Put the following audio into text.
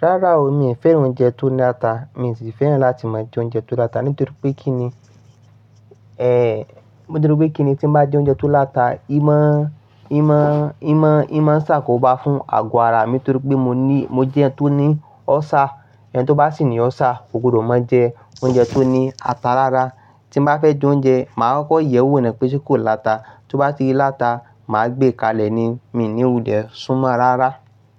Rárá o, mi ò fẹ́ràn oúnjẹ tó ní ata. Mi ò sì fẹ́ràn láti máa jẹ oúnjẹ tó láta nítorí pé kí ni, nítorí pé kí ni tí n bá jẹ oúnjẹ tó láta, ìmá, ìmá, ìmá, ìmá ń ṣà kò bá fún àgọ̀ ara mi nítorí pé mo ní, mo jẹ ẹ́ tó ní ulcer. Ẹni tó bá sì ní Ulcer kò gbọdọ̀ máa jẹ oúnjẹ tó ní ata rárá. Tí n bá fẹ́ jẹ oúnjẹ, màá kọ́kọ́ yẹ̀wò nípè sè kò láta. Tí ó bá ti láta, màá gbé e kalẹ̀ ní, mi ní wulẹ̀ súnmọ́ rárá.